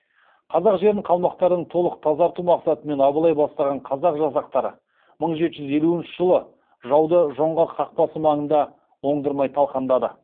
қазақ жерін қалмақтардан толық тазарту мақсатымен абылай бастаған қазақ жасақтары мың жеті жүз елуінші жылы жауды жоңғар қақпасы маңында оңдырмай талқандады